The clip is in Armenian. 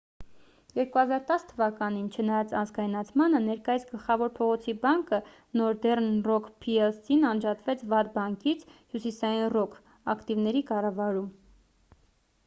2010 թ.-ին չնայած ազգայնացմանը ներկայիս գլխավոր փողոցի բանկը նորդեռն ռոք փի-էլ-սին անջատվեց ’վատ բանկից’՝ հյուսիսային ռոք ակտիվների կառավարում: